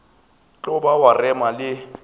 tlo ba wa rema le